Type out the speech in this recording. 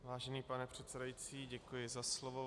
Vážený pane předsedající, děkuji za slovo.